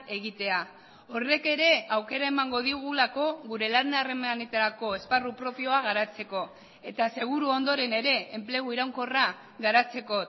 egitea horrek ere aukera emango digulako gure lan harremanetarako esparru propioa garatzeko eta seguru ondoren ere enplegu iraunkorra garatzeko